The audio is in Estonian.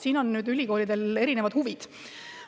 Siin on ülikoolidel erinevad huvid.